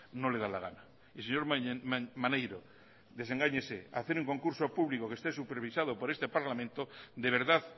no le da la gana y señor maneiro desengáñese hacer un concurso público que esté supervisado por este parlamento de verdad